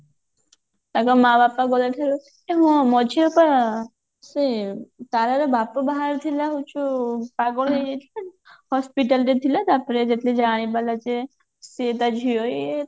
ତାଙ୍କ ମାଆ ବାପା ଦୂରରେ ଥିବେ ଏ ମଝିର ପା ସେ ତାରାର ବାପ ବାହାରିଥିଲା ହଉଛୁ ପାଗଳ ହେଇଯାଇଥିଲା hospital ରେ ଥିଲା ତାପରେ ଯେତେବେଳେ ଜାଣିପାରିଲା ଯେ ସିଏ ତା ଝିଅ ଇଏ